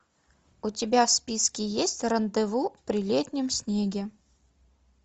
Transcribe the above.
у тебя в списке есть рандеву при летнем снеге